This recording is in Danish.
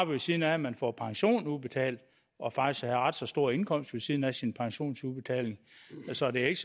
ved siden af at man får pension udbetalt og faktisk have ret så stor indkomst ved siden af sin pensionsudbetaling så det er